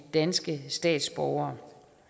danske statsborgere